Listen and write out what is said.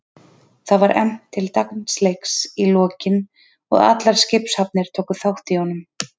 Það var efnt til dansleiks í lokin og allar skipshafnir tóku þátt í honum.